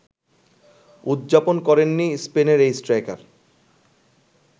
উদযাপন করেননি স্পেনের এই স্ট্রাইকার